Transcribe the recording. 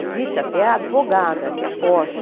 Existe até a advogada, que é a Porsche.